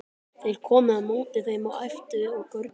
Þeir komu á móti þeim og æptu og görguðu.